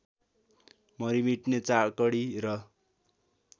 मरिमेट्ने चाकडी र